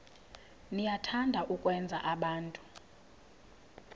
niyathanda ukwenza abantu